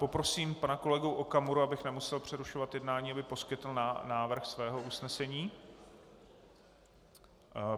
Poprosím pana kolegu Okamuru, abych nemusel přerušovat jednání, aby poskytl návrh svého usnesení.